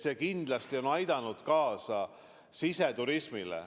See kindlasti on aidanud kaasa siseturismile.